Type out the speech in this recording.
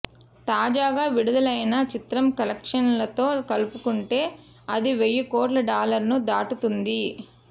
తాజాగా విడుదలైన చిత్రం కలెక్షన్సుతో కలుపుకుంటే అది వెయ్యికోట్ల డాలర్లను దాటుతుంది